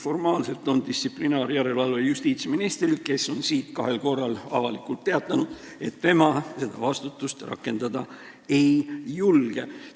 Formaalselt on distsiplinaarjärelevalve justiitsministri ülesanne, kes on siin kahel korral avalikult teatanud, et tema seda vastutust rakendada ei julge.